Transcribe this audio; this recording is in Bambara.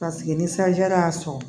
ni sanji yɛrɛ y'a sɔrɔ